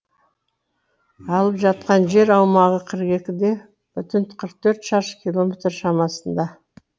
алып жатқан жер аумағы қырық екіде бүтін қырық төрт шаршы километр шамасында